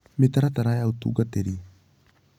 Mĩtaratara ya Ũtungatĩri